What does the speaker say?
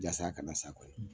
Jasa a kana s'a kɔrɔ.